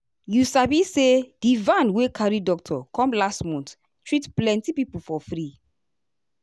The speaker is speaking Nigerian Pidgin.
you sabi say di van wey carry doctor come last month treat plenty people for free.